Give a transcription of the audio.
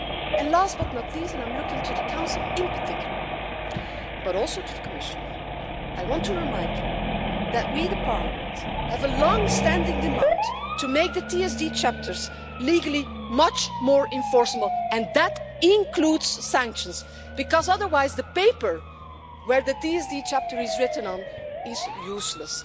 And last but not least and I'm looking to the Council in particular, but also to the Commissioner I want to remind you that we, the Parliament, have a long standing demand to make the TSD chapters legally much more enforceable, and that includes sanctions, because otherwise the paper on which the TSD chapter is written is useless.